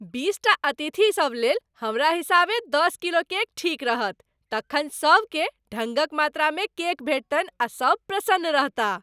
बीसटा अतिथिसब लेल, हमरा हिसाबे दस किलो केक ठीक रहत, तखन सबकेँ ढङ्गक मात्रामे केक भेटतनि आ सब प्रसन्न रहताह।